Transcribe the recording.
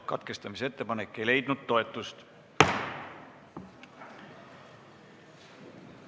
Katkestamise ettepanek ei leidnud toetust.